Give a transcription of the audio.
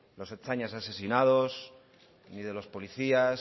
los ertzainas asesinados ni de los policías